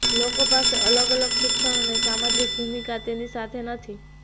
લોકો પાસે અલગ અલગ શિક્ષણ અને સામાજિક ભૂમિકા તેની સાથે નથી